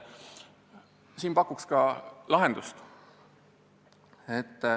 Ma pakun välja ka lahenduse.